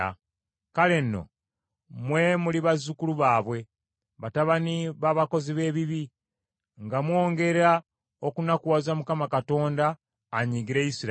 “Kale nno mmwe muli bazzukulu baabwe, batabani b’abakozi b’ebibi, nga mwongera okunakuwaza Mukama Katonda anyiigire Isirayiri!